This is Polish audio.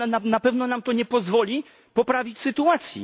Na pewno nam to nie pozwoli poprawić sytuacji.